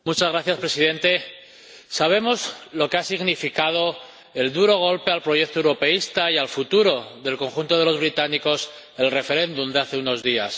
Señor Presidente, sabemos lo que ha significado el duro golpe al proyecto europeísta y al futuro del conjunto de los británicos del referéndum de hace unos días.